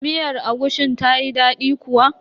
Miyar agushin tayi daɗi kuwa?